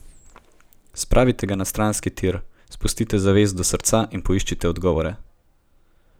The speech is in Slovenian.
Spravite ga na stranski tir, spustite zavest do srca in poiščite odgovore.